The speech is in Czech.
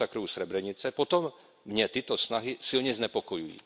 masakru u Srebrenice, potom mě tyto snahy silně znepokojují.